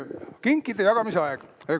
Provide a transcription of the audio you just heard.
No nii, kinkide jagamise aeg.